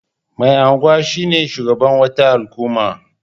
Mai anguwa shine shugaban wata al'umma.